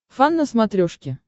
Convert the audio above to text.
фан на смотрешке